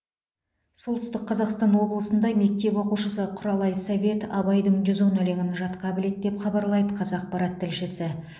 солтүстік қазақстан облысында мектеп оқушысы құралай совет абайдың жүз он өлеңін жатқа біледі деп хабарлайды қазақпарат тілшісі